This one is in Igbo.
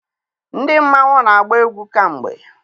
ndị mmanwu, na-agba egwú kamgbe